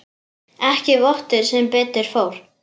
Ekki vottur sem betur fór.